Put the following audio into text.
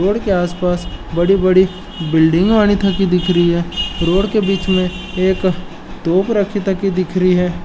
रोड के आसपास बड़ी बड़ी बिल्डिंग आनीथाकि दिख रई है रोड के बीच में एक तोप रखि तकी दिख रई है।